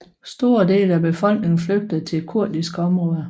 Store dele af befolkningen flygtede til kurdiske områder